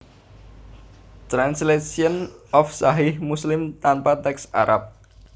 Translation of Sahih Muslim tanpa teks Arab